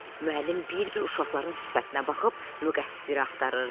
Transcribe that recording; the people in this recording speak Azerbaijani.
Müəllim bir-bir uşaqların sifətinə baxıb müqəssiri axtarırdı.